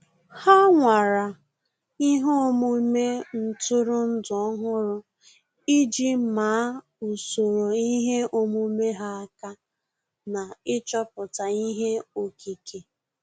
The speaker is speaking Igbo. Há nwàrà ihe omume ntụrụndụ ọ́hụ́rụ́ iji màá usoro ihe omume ha aka na ịchọ̀pụ́tá ihe okike.